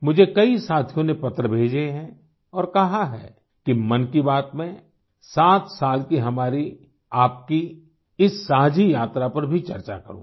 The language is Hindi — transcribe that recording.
मुझे कई साथियों ने पत्र भेजे हैं और कहा है कि मन की बात में 7 साल की हमारीआपकी इस साझी यात्रा पर भी चर्चा करूँ